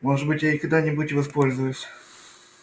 может быть я ей когда-нибудь и воспользуюсь